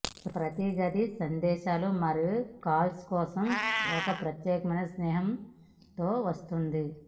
ప్రతి గది సందేశాలు మరియు కాల్స్ కోసం ఒక ప్రత్యేక చిహ్నం తో వస్తుంది